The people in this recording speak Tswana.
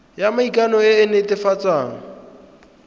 ya maikano e e netefatsang